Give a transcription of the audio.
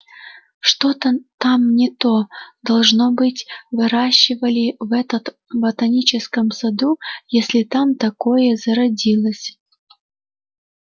что-то там не то должно быть выращивали в этот ботаническом саду если там такое зародилось